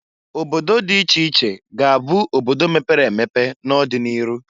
Obodo dị iche iche ga- abụ obodo mepere emepe n'odị n'iru.